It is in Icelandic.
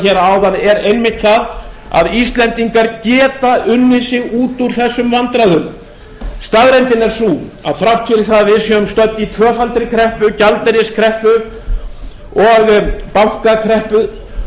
hér áðan er einmitt það að íslendingar geta unnið sig út úr þessum vandræðum staðreyndin er sú að þrátt fyrir það að við séum stödd í tvöfaldri kreppu gjaldeyriskreppu og bankakreppu og